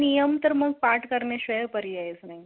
नियम तर मग पाठ करण्याशिवाय पर्याय नाही